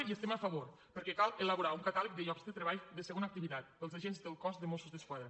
hi estem a favor perquè cal elaborar un catàleg de llocs de treball de segona activitat per als agents del cos de mossos d’esquadra